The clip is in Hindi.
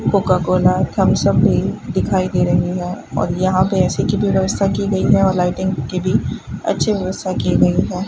कोका कोला थम्स अप भी दिखाई दे रही है और यहां पे ए_सी की भी व्यवस्था की गई है और लाइटिंग की भी अच्छी व्यवस्था की गई है।